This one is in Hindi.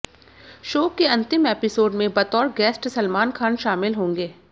शो के अंतिम एपिसोड में बतौर गेस्ट सलमान खान शामिल होंगे